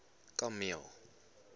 kameel